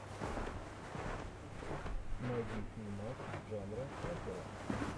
найди фильмас жанра опера